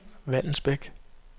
Vallensbæk